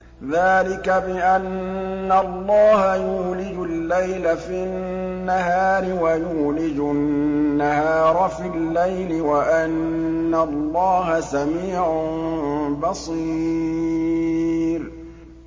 ذَٰلِكَ بِأَنَّ اللَّهَ يُولِجُ اللَّيْلَ فِي النَّهَارِ وَيُولِجُ النَّهَارَ فِي اللَّيْلِ وَأَنَّ اللَّهَ سَمِيعٌ بَصِيرٌ